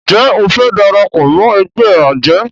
Njé o fe darapọ̀ mọ ègbé ajé?